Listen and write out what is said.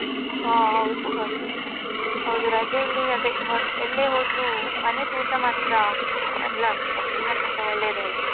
ಹ ಹೌದ್ ಹೌದು ಹೌದು ರಜೆಯಲ್ಲಿ ಅದೇ ಎಲ್ಲೆ ಹೋದ್ರು ಮನೆದ್ ಊಟ ಮಾತ್ರ ಎಲ್ಲ ಎಲ್ಲಕ್ಕಿಂತ ಒಳ್ಳೆದೇ ಅಲ್ವಾ.